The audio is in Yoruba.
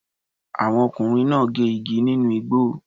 Àwọn ọkùnrin náà gé igi nínú igbó.